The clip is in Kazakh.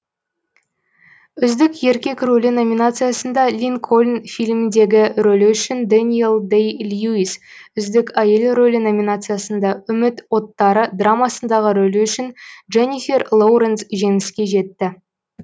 үздік еркек рөлі номинациясында линкольн фильміндегі рөлі үшін дэниэл дэй льюис үздік әйел рөлі номинациясында үміт оттары драмасындағы рөлі үшін дженнифер лоуренс жеңіске жетті